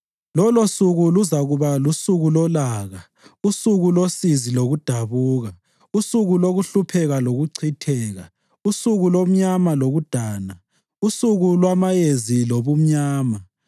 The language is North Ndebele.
Lolosuku luzakuba lusuku lolaka, usuku losizi lokudabuka; usuku lokuhlupheka lokuchitheka, usuku lomnyama lokudana, usuku lwamayezi lobumnyama,